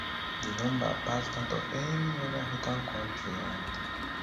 di number pass dat of any oda african kontri and